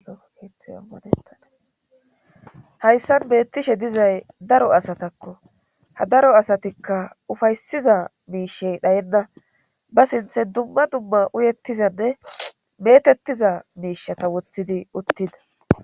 Etaadahayssan beettishe dizay daro asatakko ha daro asatikka ufaysiza miishey dhayenna ba sinthe dumma dumma uyettizanne metettiza miishata wothidi uttida